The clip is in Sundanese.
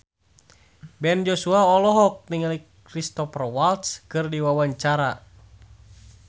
Ben Joshua olohok ningali Cristhoper Waltz keur diwawancara